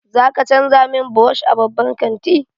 Za ka canza min brush a babban kanti?